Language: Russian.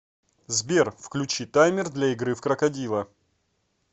сбер включи таймер для игры в крокодила